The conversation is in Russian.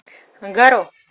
гаро